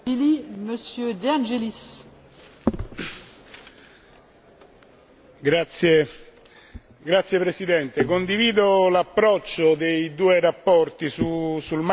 Condivido l'approccio delle due relazioni sul marchio comunitario perché mirano a due obiettivi la semplificazione e la riduzione dei costi di registrazione.